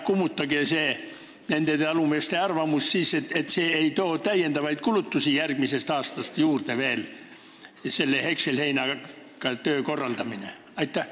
Kummutage nende talumeeste arvamus ja öelge, et hekselheina koristamine ei too järgmisest aastast lisakulutusi.